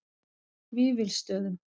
Vífilsstöðum